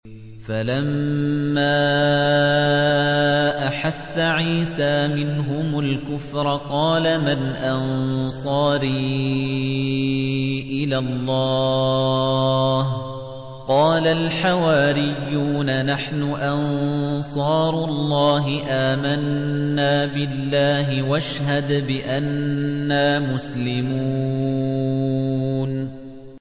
۞ فَلَمَّا أَحَسَّ عِيسَىٰ مِنْهُمُ الْكُفْرَ قَالَ مَنْ أَنصَارِي إِلَى اللَّهِ ۖ قَالَ الْحَوَارِيُّونَ نَحْنُ أَنصَارُ اللَّهِ آمَنَّا بِاللَّهِ وَاشْهَدْ بِأَنَّا مُسْلِمُونَ